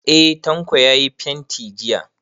Eh, Tanko ya yi fenti jiya.